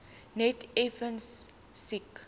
net effens siek